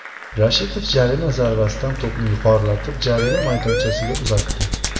Rashidov jarima zarbasidan to‘pni yuqorilatib jarima maydonchasiga uzatdi.